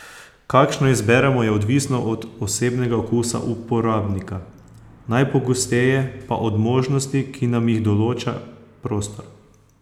Kakšno izberemo, je odvisno od osebnega okusa uporabnika, najpogosteje pa od možnosti, ki nam jih določa prostor.